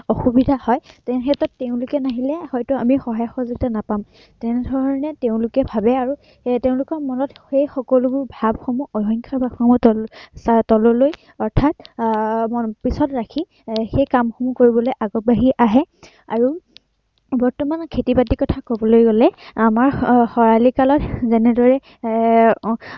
অৰ্থাত আহ পিছত ৰাখি সেই কামসমূহ কৰিবলৈ আগবাঢ়ি আহে আৰু বৰ্তমান খেতি-বাতিৰ কথা কবলৈ গলে আমাৰ খৰালি কালত কবলৈ গলে যেনে এৰ অৰ্থাত